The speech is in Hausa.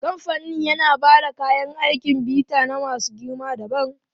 Kamfanin yana ba da kayan aikin bita na masu girma dabam.